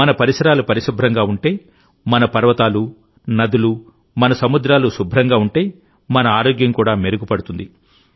మన పరిసరాలు పరిశుభ్రంగా ఉంటేమన పర్వతాలు నదులు మన సముద్రాలు శుభ్రంగా ఉంటేమన ఆరోగ్యం కూడా మెరుగుపడుతుంది